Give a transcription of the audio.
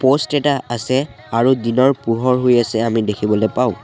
Post কেইটা আছে আৰু দিনৰ পোহৰ হৈ আছে আমি দেখিবলৈ পাওঁ।